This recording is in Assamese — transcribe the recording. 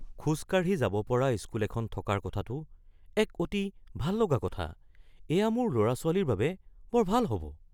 খোজ কাঢ়ি যাব পৰা স্কুল এখন থকাৰ কথাটো এক অতি ভাল লগা কথা। এইয়া মোৰ ল'ৰা-ছোৱালীৰ বাবে বৰ ভাল হ'ব।"